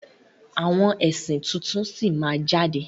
Àwọn ẹ̀sìn tuntun sí máa jáde.